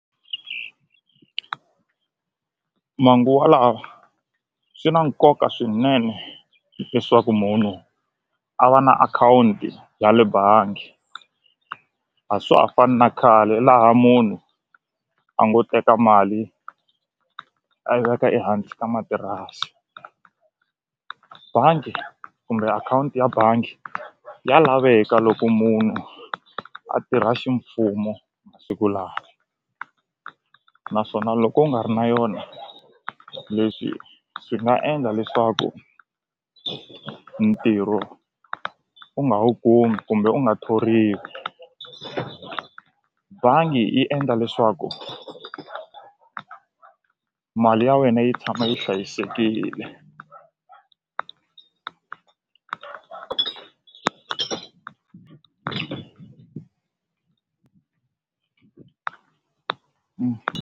Manguvalawa swi na nkoka swinene leswaku munhu a va na akhawunti ya le bangi a swa ha fani na khale laha munhu a ngo teka mali a yi veka ehansi ka matirasi bangi kumbe akhawunti ya bangi ya laveka loko munhu a tirha ximfumo naswona loko u nga ri na yona leswi swi nga endla leswaku ntirho u nga wu kumi kumbe u nga thoriwi bangi yi endla leswaku mali ya wena yi tshama yi hlayisekile.